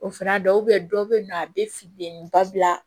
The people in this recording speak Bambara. O fana dɔw bɛ dɔw bɛ yen nɔ a bɛ filenni ba bila